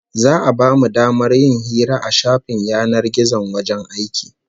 Za'a bamu damar yin hira a shafin yanar gizon wajen aiki